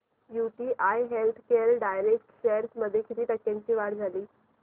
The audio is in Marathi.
यूटीआय हेल्थकेअर डायरेक्ट शेअर्स मध्ये किती टक्क्यांची वाढ झाली